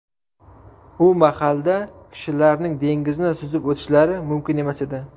U mahalda kishilarning dengizni suzib o‘tishlari mumkin emas edi.